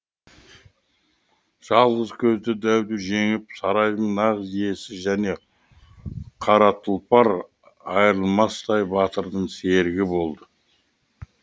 жалғыз көзді дәуді жеңіп сарайдың нағыз иесі және қара тұлпар айырылмастай батырдың серігі болды